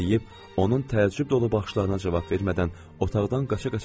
Bunu deyib onun təəccüb dolu baxışlarına cavab vermədən otaqdan qaça-qaça çıxdım.